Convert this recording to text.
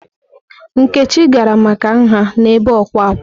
Nkechi gara maka nha n'ebe ọkwà ákwá.